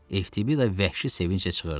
FTBida vəhşi sevinclə çığırdı: